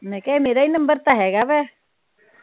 ਮੈ ਕਿਹਾ ਇਹ ਮੇਰਾ ਈ ਨੰਬਰ ਤਾ ਹੇਗਾ ਵਾ।